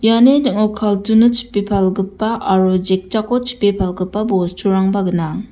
iani ning·o carton-o chipe palgipa aro jikjako chipe palgipa bosturangba gnang.